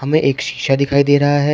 में एक शीशा दिखाई दे रहा है।